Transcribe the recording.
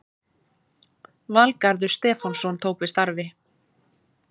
Valgarður Stefánsson tók við starfi